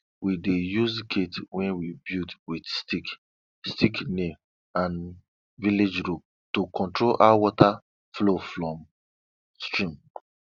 we dey use gate wey we build with stick stick nail and village rope to control how water flow from stream